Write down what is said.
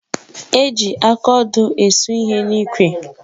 Eji akaodo esu ihe n'ikwe